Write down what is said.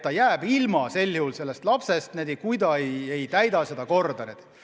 Ta teab, et ta jääb lapsest ilma, kui ta määratud korda ei täida.